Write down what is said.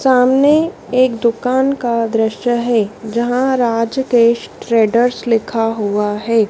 सामने एक दुकान का दृश्य है। जहां राज ट्रेडर्स लिखा हुआ है।